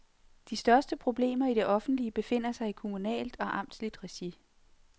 De største problemer i det offentlige befinder sig i kommunalt og amtsligt regi.